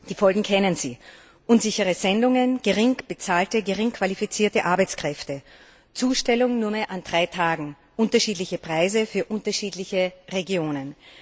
Die Folgen kennen Sie unsichere Sendungen, gering bezahlte, gering qualifizierte Arbeitskräfte, Zustellung nur mehr an drei Tagen, unterschiedliche Preise für unterschiedliche Regionen.